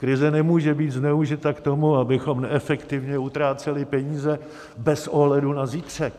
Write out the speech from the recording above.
Krize nemůže být zneužita k tomu, abychom neefektivně utráceli peníze bez ohledu na zítřek.